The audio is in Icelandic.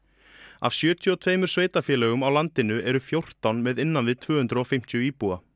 af sjötíu og tveimur sveitarfélögum á landinu eru fjórtán með innan við tvö hundruð og fimmtíu íbúa